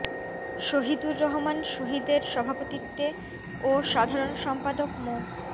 শহীদুর রহমান শহীদ এর সভাপতিত্বে ও সাধারণ সম্পাদক মো